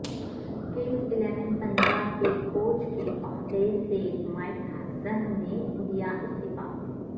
Kings Eleven Punjab کے coach کے عہدے سے مائیک ہیسن نے دیا استعفی